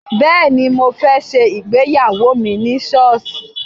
Bẹ́ẹ̀ni, mo fẹ́ ṣe ìgbéyawó mi ní sọ́ọ̀sì